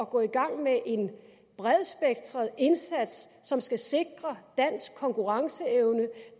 gå i gang med en bredspektret indsats som skal sikre dansk konkurrenceevne